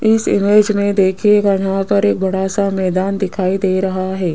इस इमेज में देखिएगा यहां पर एक बड़ा सा मैदान दिखाई दे रहा है।